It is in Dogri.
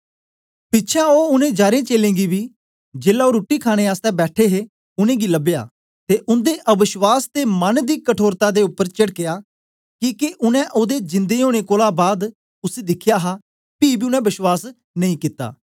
पिछें ओ उनै जारें चेलें गी बी जेलै ओ रुट्टी खाणे आसतै बैठे हे उनेंगी लबया ते उन्दे अवश्वास ते मन दी कठोरता दे उपर चेडकया किके उनै ओदे जिन्दे ओनें कोलां बाद उसी दिखया हा पी बी उनै बश्वास नेई कित्ता